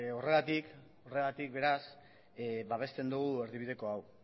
horregatik beraz babesten dugu erdibideko hau